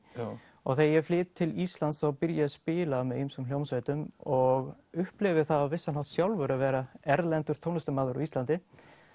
og þegar ég flyt til Íslands þá byrja ég að spila með ýmsum hljómsveitum og upplifi það á vissan hátt sjálfur að vera erlendur tónlistarmaður á Íslandi